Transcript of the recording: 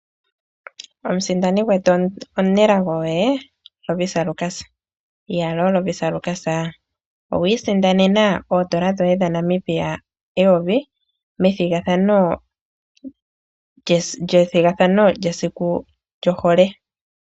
Omusindani gwetu omunelago oye Lovisa Lukas. Iyaloo Lovisa Lukas owi isindanena oodola dhoye dhaNamibia eyovi methigathano lyesiku lyohole.